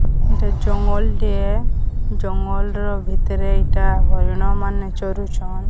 ଏଇଟା ଜଙ୍ଗଲ ଟିଏ ଜଙ୍ଗଲ ଭିତରେ ଏଇଟା ହରିଣ ମାନେ ଚରୁଚନ୍।